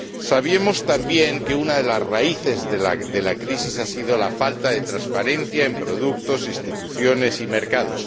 Sabemos también que una de las raíces de la crisis ha sido la falta de transparencia en productos, instituciones y mercados.